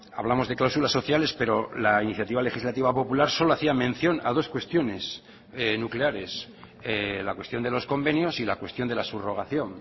hablamos de cláusulas sociales pero la iniciativa legislativa popular solo hacía mención a dos cuestiones nucleares la cuestión de los convenios y la cuestión de la subrogación